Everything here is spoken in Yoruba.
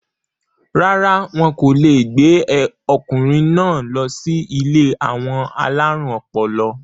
rárá, wọn kò le gbé ọkùnrin náà lọ sí ilé àwọn alárùn ọpọlọ